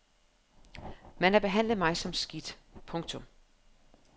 Man har behandlet mig som skidt. punktum